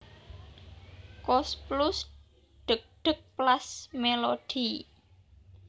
Koes Plus Dheg dheg Plas Melody